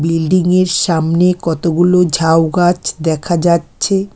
বিল্ডিংয়ের সামনে কতগুলো ঝাউ গাছ দেখা যাচ্ছে।